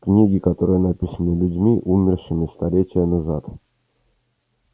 книги которые написаны людьми умершими столетия назад